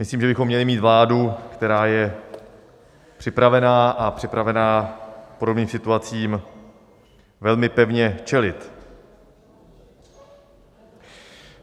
Myslím, že bychom měli mít vládu, která je připravená a připravena podobným situacím velmi pevně čelit.